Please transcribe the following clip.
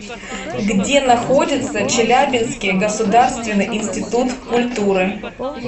где находится челябинский государственный институт культуры